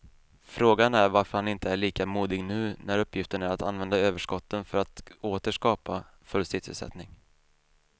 Frågan är varför han inte är lika modig nu när uppgiften är att använda överskotten för att åter skapa full sysselsättning.